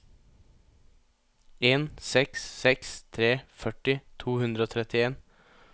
en seks seks tre førti to hundre og trettien